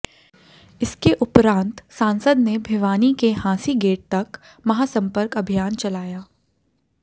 इसके उपरांत सांसद ने भिवानी के हांसी गेट तक महासम्पर्क अभियान चलाया